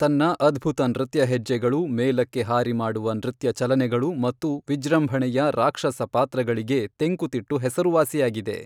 ತನ್ನ ಅದ್ಭುತ ನೃತ್ಯ ಹೆಜ್ಜೆಗಳು, ಮೇಲಕ್ಕೆ ಹಾರಿ ಮಾಡುವ ನೃತ್ಯ ಚಲನೆಗಳು ಮತ್ತು ವಿಜೃಂಭಣೆಯ ರಾಕ್ಷಸ ಪಾತ್ರಗಳಿಗೆ ತೆಂಕುತಿಟ್ಟು ಹೆಸರುವಾಸಿಯಾಗಿದೆ.